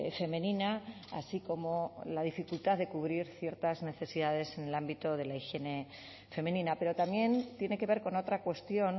femenina así como la dificultad de cubrir ciertas necesidades en el ámbito de la higiene femenina pero también tiene que ver con otra cuestión